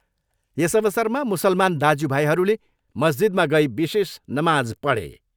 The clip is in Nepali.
यस अवसरमा मुसलमान दाज्युभाइहरूले मस्जिदमा गई विशेष नमाज पढे।